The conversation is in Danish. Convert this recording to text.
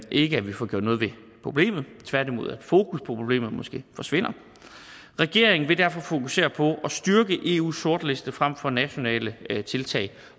ikke at vi får gjort noget ved problemet tværtimod at fokus på problemet måske forsvinder regeringen vil derfor fokusere på at styrke eus sortliste frem for nationale tiltag